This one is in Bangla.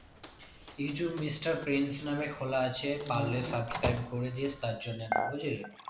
ইউটিউব mr french নামে খোলা আছে পারলে subscribe করে দিস তার জন্য বুঝ্লি